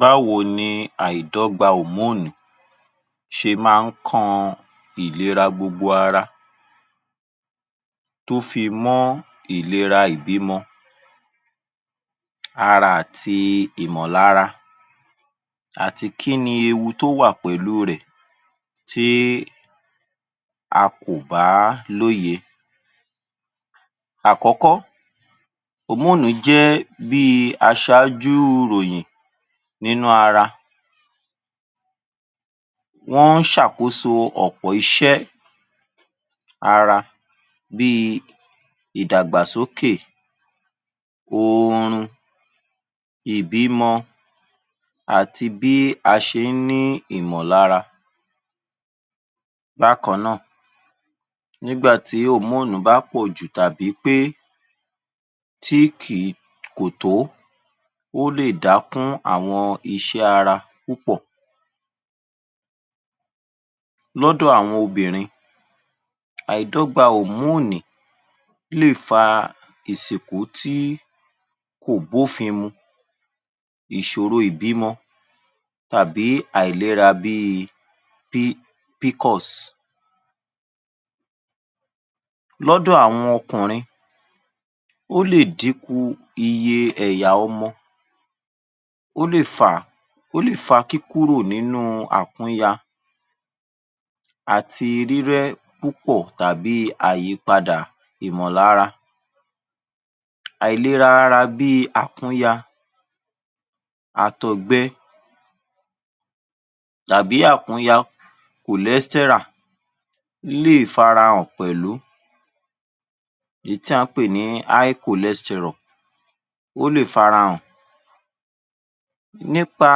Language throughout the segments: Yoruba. Báwo ni àìdọ́gba òmóònì hormones ṣe máa ń kan ìlera gbogbo ara tó fi mọ́ ìlera ìbímọ, ara àti ìmọ̀lára àti kí ni ewu ti ó wà pẹ̀lú rẹ̀ tí a kò bá lóye. Àkọ́kọ́, òmóònì jẹ́ bí i aṣáájú ìròyìn nínú ara, wọ́n ń ṣàkóso ọ̀pọ̀ iṣẹ́ ní ara bí i ìdàgbàsókè oorun ìbímọ ati bí a ṣé ń ní ìmọ̀lára. Bákan náà nígbà tí òmóònì bá pọ̀jù lára tàbí pé tí kìí kò tó ó lè Dákun àwọn iṣẹ́ ara púpọ̀. Lọ́dọ̀ àwọn obìnrin àìdọ́gba òmóònì lè fa ìsìnkó tí kò bófin mú, ìṣòro ìbímọ tàbí àìlera bí i PCOS. Lọ́dọ̀ àwọn okunrin, ó lè dínkù iye ẹ̀yà ọmọ, ó lè fà kíkúrò nínú àkúnya àti rírẹ́ púpọ̀ tàbí àyípadà Ìmọ̀lára. Àìlera ara bí i àkúnya, àtọ̀gbẹ tàbí àkúnya cholesteral lè fara hàn pẹ̀lú èyí tí a pè ní high Cholesterol ó lè farahàn. Nípa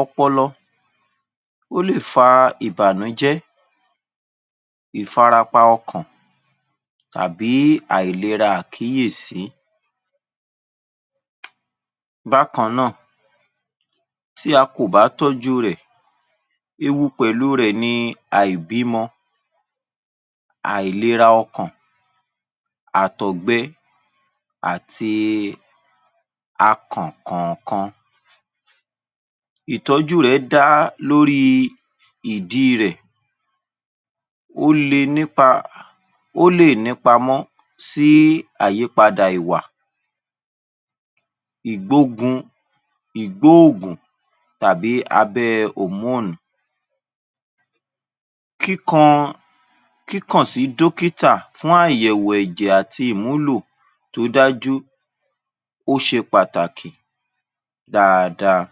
ọpọlọ,ó lè fà ìbànújẹ́, ifarapa ọkàn, tàbí àìlera àkíyèsí. Bákan náà tí a kò bá tọ́jú u rẹ̀, ewu pẹ̀lú u rẹ̀ ni aìbímọ, àìlera ọkàn, àtọ̀gbẹ àti akàn kọ̀ọ̀kan. Ìtọ́jú rẹ dá lórí Ìdí irẹ̀. Ó lè nípamọ́ sí àyípadà ìwà, ìgbóògùn tàbí abẹ́ ẹ òmóònì. Kíkàn sí dókítà fún àyẹ̀wò ẹ̀jẹ̀ àti ìmúlò tó dájú, ó ṣe pàtàkì dáadáa.